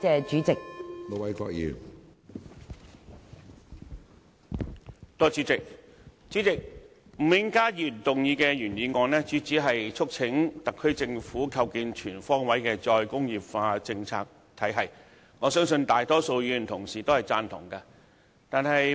主席，吳永嘉議員動議的原議案，是要促請特區政府"構建全方位'再工業化'政策體系"，相信大多數議員同事都贊同。